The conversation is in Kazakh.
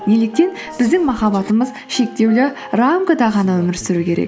неліктен біздің махаббатымыз шектеулі рамкада ғана өмір сүру керек